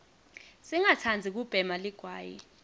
singatsandzi kubhema ligwayi